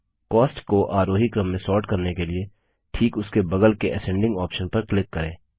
cost को आरोही क्रम में सोर्ट करने के लिए ठीक उसके बगल के असेंडिंग ऑप्शन पर क्लिक करें